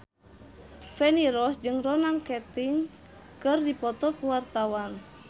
Feni Rose jeung Ronan Keating keur dipoto ku wartawan